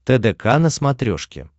тдк на смотрешке